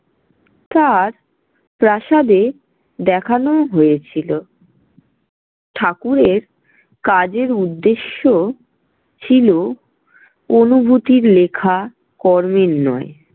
তার প্রাসাদে দেখানোও হয়েছিল। ঠাকুরের কাজের উদ্দেশ্য ছিল অনুভূতির লেখা, কর্মের নয়।